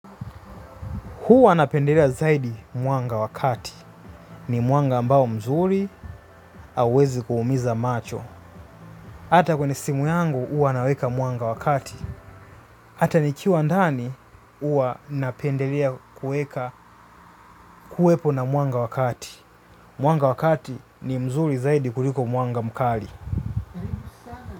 Huwa napendelea zaidi mwanga wa kati. Ni mwanga ambao mzuri hauwezi kuumiza macho. Hata kwenye simu yangu huwa naweka mwanga wa kati. Hata nikiwa ndani huwa napendelea kuweka kuwepo na mwanga wa kati. Mwanga wa kati ni mzuri zaidi kuliko mwanga mkali.